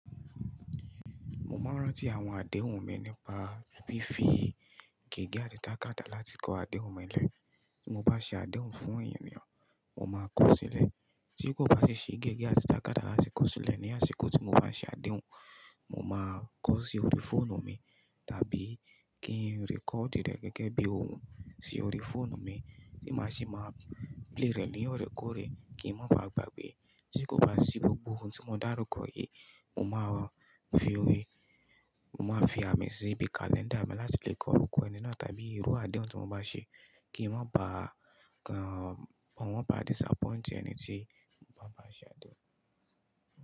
Mo máa ń rántí àwọn adehùn mi nípa fí fi gègé àti tàkàtà láti kọ adehùn mi lẹ̀. Mo bá ṣe adehùn fún ènìyàn, mo máa kọ ó sílẹ̀ tí kò bá sì ṣe gègé àti tàkàtà láti kọ ó sílẹ̀ ní àsìkò tí mo bá ṣe adehùn, mo máa kọ ọ́ sí orí fóònù mi tàbí kí n record rẹ̀ gẹ́gẹ́ bí òun sí orí fóònù mi tí màá sì máa play rẹ̀ ní ọ̀rẹ́ kọ̀rẹ́ kí ń má baà gbàgbé. Tí kò bá sí gbogbo ohun tí mo dá rúkọ yìí, mo máa fi, mo máa fi àmì sí ibi kalẹ́ńdà mi láti lè kọ orúkọ ẹni náà tàbí irú adehùn tí mo bá ṣe kí wọ́n bá kan, wọ́n bá disappoint ẹni tí mo bá bá ṣe adehùn.